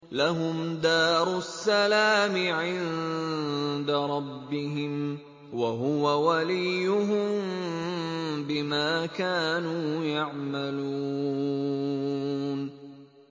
۞ لَهُمْ دَارُ السَّلَامِ عِندَ رَبِّهِمْ ۖ وَهُوَ وَلِيُّهُم بِمَا كَانُوا يَعْمَلُونَ